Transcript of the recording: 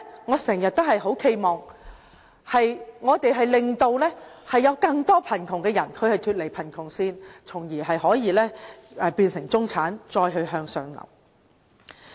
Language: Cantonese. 我經常企盼我們令更多貧窮人士脫離貧窮線，從而變成中產，再向上流。